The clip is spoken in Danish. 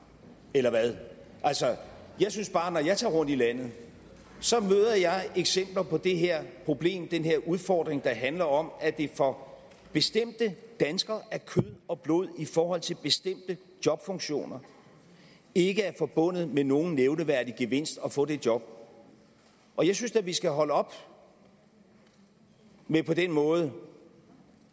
eller hvad altså jeg synes bare når jeg tager rundt i landet møder jeg eksempler på det her problem den her udfordring der handler om at det for bestemte danskere af kød og blod i forhold til bestemte jobfunktioner ikke er forbundet med nogen nævneværdig gevinst at få det job og jeg synes da vi skal holde op med på den måde